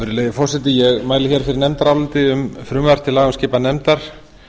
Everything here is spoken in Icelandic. virðulegi forseti ég mæli hér fyrir nefndaráliti um frumvarp til laga um skipan nefndar